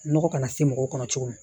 Nɔgɔ kana se mɔgɔw kɔnɔ cogo min